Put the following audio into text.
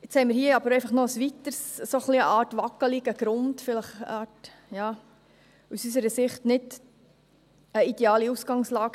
Nun haben wir hier aber einfach noch einen weiteren, eine Art wackligen Grund – aus unserer Sicht vielleicht nicht eine ideale Ausgangslage.